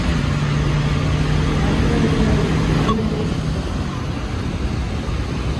открой воин четыре ка